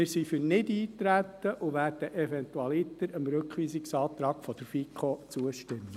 Wir sind für Nichteintreten und werden dem Rückweisungsantrag der FiKo eventualiter zustimmen.